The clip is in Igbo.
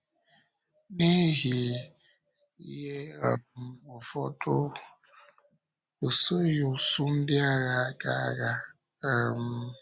N’ihi ihe um ụfọdụ, ọ soghị usùù ndị agha ya gaa agha. um